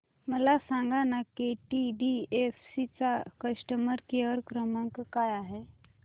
मला सांगाना केटीडीएफसी चा कस्टमर केअर क्रमांक काय आहे